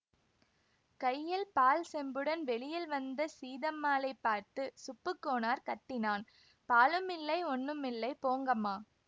கையில் பால் செம்புடன் வெளியில் வந்த சீதம்மாளைப் பார்த்து சுப்புக் கோனார் கத்தினான் பாலுமில்லை ஒண்ணுமில்லை போங்கம்மா